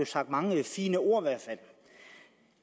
sagt mange fine ord